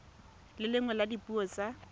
le nngwe ya dipuo tsa